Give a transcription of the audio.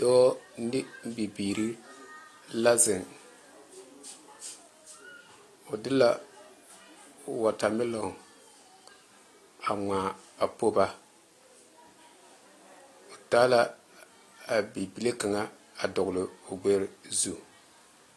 Dɔɔ ne bibiiri la zeŋ o de la watermelon a ŋmaa a po ba o taa la a bibile kaŋa a dɔgele o gbɛrɛ zu